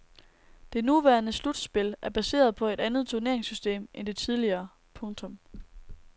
Det nuværende slutspil er baseret på et andet turneringssystem end det tidligere. punktum